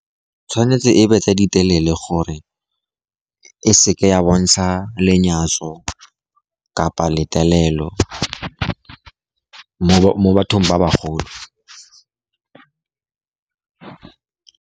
Tshwanetse e be tse di telele, gore e seke ya bontsha lenyatso kapa letelelo mo bathong ba bagolo.